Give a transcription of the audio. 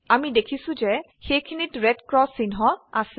আমি দেখিছো যে সেইখিনিত red ক্ৰচ চিহ্ন আছে